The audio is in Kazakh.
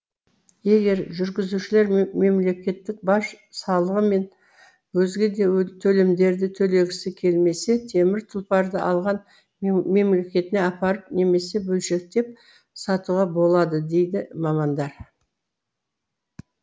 егер жүргізушілер мемлекеттік баж салығы мен өзге де төлемдерді төлегісі келмесе темір тұлпарды алған мемлекетіне апарып немесе бөлшектеп сатуға болады дейді мамандар